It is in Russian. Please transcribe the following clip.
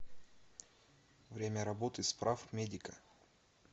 время работы справмедика